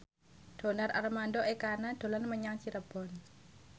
Donar Armando Ekana dolan menyang Cirebon